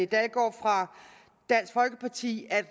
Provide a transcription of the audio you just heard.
dalgaard fra dansk folkeparti at